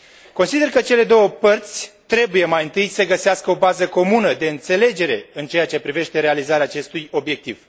Consider că cele două părți trebuie mai întâi să găsească o bază comună de înțelegere în ceea ce privește realizarea acestui obiectiv.